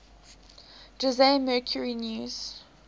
jose mercury news